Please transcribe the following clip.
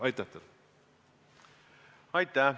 Aitäh!